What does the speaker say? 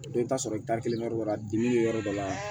Dɔ bɛ taa sɔrɔ i taalen yɔrɔ dɔ la dimi bɛ yɔrɔ dɔ la